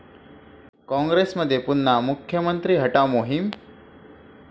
काँग्रेसमध्ये पुन्हा 'मुख्यमंत्री हटाव' मोहीम?